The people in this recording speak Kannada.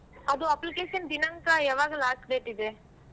ಅದು application ದಿನಾಂಕ ಯಾವಾಗ last date ಇದೆ.